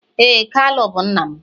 ee, kalu bu nna m.